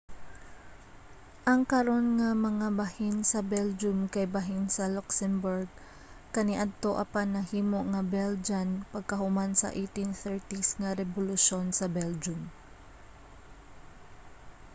ang karon nga mga bahin sa belgium kay bahin sa luxembourg kaniadto apan nahimo nga belgian pagkahuman sa 1830s nga rebolusyon sa belgium